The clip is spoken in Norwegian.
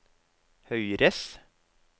høyres